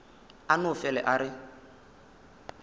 a no fele a re